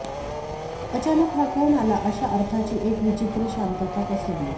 अचानक हा कोण आला अशा अर्थाची एक विचित्र शांतता पसरली